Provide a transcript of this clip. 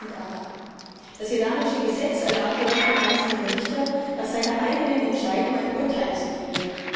2008. Das iranische Gesetz erlaubt jedoch dem einzelnen Richter, nach seiner eigenen Entscheidung ein Urteil zu fällen.